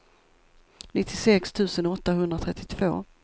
nittiosex tusen åttahundratrettiotvå